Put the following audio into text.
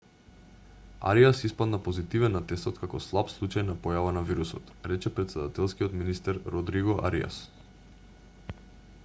ариас испадна позитивен на тестот како слаб случај на појава на вирусот рече претседателскиот министер родриго ариас